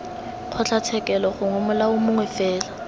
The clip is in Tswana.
kgotlatshekelo gongwe molao mongwe fela